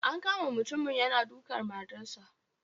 An kama mutumin yana dukan matarsa.